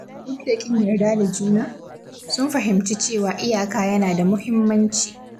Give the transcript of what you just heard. Duk da ƙin yarda da juna, sun fahimci cewa iyaka yana da muhimmanci.